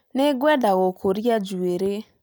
Nĩngwenda gũkũria njuĩrĩ